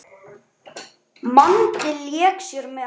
Mangi lék sér með.